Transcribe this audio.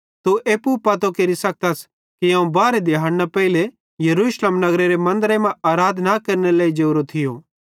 तू एप्पू पतो केरि सखत्स कि अवं बारहे दिहाड़े पेइले यरूशलेम नगरेरे मन्दरे मां आराधना केरनेरे लेइ जोरो थियो